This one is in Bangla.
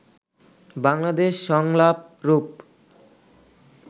বাংলাদেশ সংলাপ রূপ